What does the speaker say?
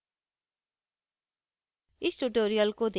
I I T Bombay से मैं श्रुति आर्य अब आपसे विदा लेती हूँ